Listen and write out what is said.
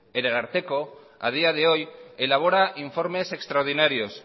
el ararteko a día de hoy elabora informes extraordinarios